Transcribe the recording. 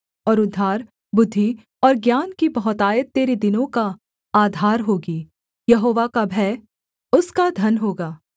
और उद्धार बुद्धि और ज्ञान की बहुतायत तेरे दिनों का आधार होगी यहोवा का भय उसका धन होगा